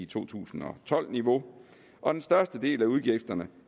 to tusind og tolv niveau og den største del af udgifterne